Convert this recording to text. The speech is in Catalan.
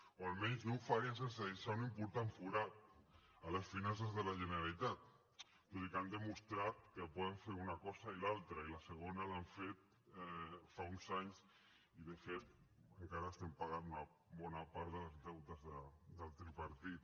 o almenys no ho farien sense deixar un important forat a les finances de la generalitat tot i que han demostrat que poden fer una cosa i l’altra i la segona l’han fet fa uns anys i de fet encara estem pagant una bona part dels deutes del tripartit